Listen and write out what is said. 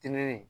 Teliye